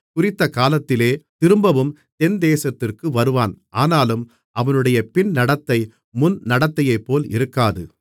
குறித்தகாலத்திலே திரும்பவும் தென்தேசத்திற்கு வருவான் ஆனாலும் அவனுடைய பின்நடத்தை முன்நடத்தையைப்போல் இருக்காது